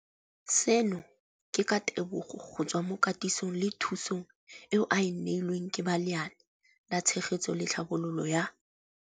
Seno ke ka ditebogo go tswa mo katisong le thu song eo a e neilweng ke ba Lenaane la Tshegetso le Tlhabololo ya